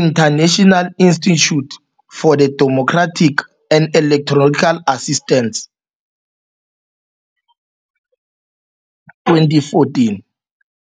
International Institute for the Democratic and Electoral Assistance 2014.